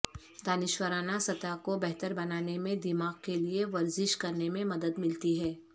دانشورانہ سطح کو بہتر بنانے میں دماغ کے لئے ورزش کرنے میں مدد ملتی ہے